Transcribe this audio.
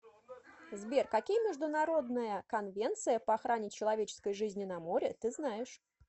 сбер какие международная конвенция по охране человеческой жизни на море ты знаешь